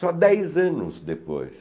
Só dez anos depois.